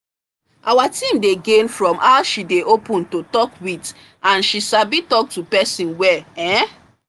our team dey gain from how she dey open to talk with and she sabi talk to person well um